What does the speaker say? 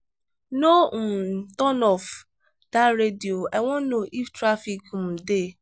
no um turn off dat radio i wan know if traffic um dey